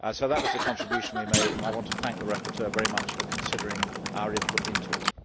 That was the contribution we made, and I want to thank the rapporteur very much for considering our input into it.